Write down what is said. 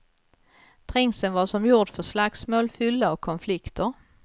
Trängseln var som gjord för slagsmål, fylla och konflikter.